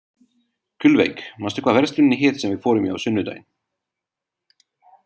Gullveig, manstu hvað verslunin hét sem við fórum í á sunnudaginn?